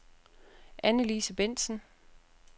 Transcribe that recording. Anne-Lise Bendtsen